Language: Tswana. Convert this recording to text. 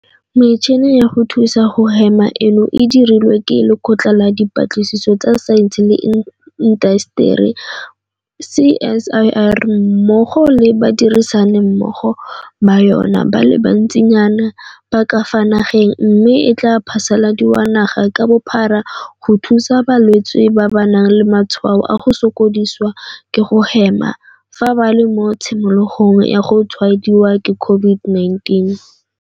Metšhini ya go thusa go hema eno e dirilwe ke Lekgotla la Dipatlisiso tsa Saense le Intaseteri, CSIR, mmogo le badirisani mmogo ba yona ba le bantsinyana ba ka fa nageng mme e tla phasaladiwa naga ka bophara go thusa balwetse ba ba nang le matshwao a go sokodisiwa ke go hema fa ba le mo tshimologong ya go tshwaediwa ke COVID-19.